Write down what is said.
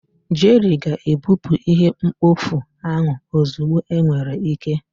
Jerry ga-ebupụ ihe mkpofu ahụ ozugbo enwere ike.